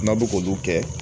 N'a bɛ k'olu kɛ